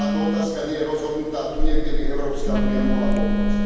Táto otázka nie je rozhodnutá a tu niekde by Európska únia mohla pomôcť.